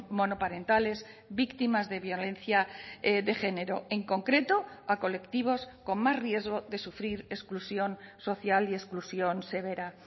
monoparentales víctimas de violencia de género en concreto a colectivos con más riesgo de sufrir exclusión social y exclusión severa